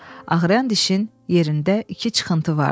Ağrıyan dişin yerində iki çıxıntı vardı.